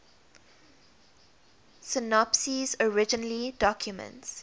synopses originally documents